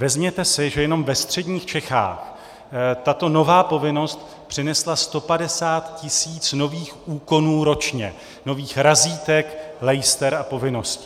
Vezměte si, že jenom ve středních Čechách tato nová povinnost přinesla 150 tisíc nových úkonů ročně, nových razítek, lejster a povinností.